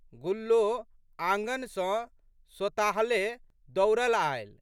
गुल्लो आँगन सँ सोताहले दौड़लि आयलि।